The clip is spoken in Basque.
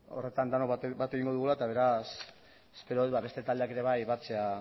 horretan denok bat egingo dugula eta beraz espero dut beste taldeak ere bai batzea